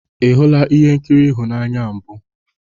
Ị hụla ihe nkiri ịhụnanya a mbụ?